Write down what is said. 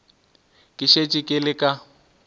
ke šetše ke le ka